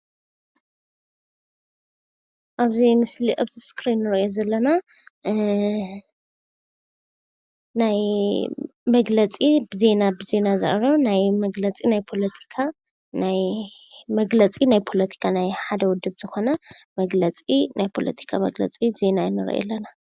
ኣብዚ ምስሊ ኣብዚ እስክሪን እንሪኦ ዘለና ናይ መግለፂ ብዜና ብዜና ዝቐርብ ናይ መግለፂ ናይ ፖለቲካን ናይ ሓደ ዉዱብ ዝኾነ መግለፂ ናይ ፖለቲካ መግለፂ ብዜና እንሪኦ ኣለና፡፡